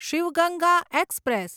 Shiv Ganga express